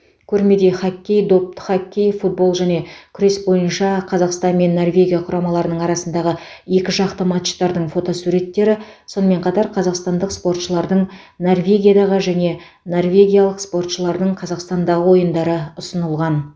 көрмеде хоккей допты хоккей футбол және күрес бойынша қазақстан мен норвегия құрамаларының арасындағы екіжақты матчтардың фотосуреттері сонымен қатар қазақстандық спортшылардың норвегиядағы және норвегиялық спортшылардың қазақстанда ойындары ұсынылған